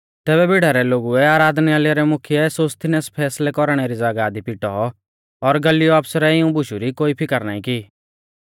तैबै भीड़ा रै लोगुऐ आराधनालय रौ मुख्यै सोस्थिनेस फैसलै कौरणै री ज़ागाह दी पिटौ पर गल्लियो आफसरै इऊं बुशु री कोई फिकर नाईं की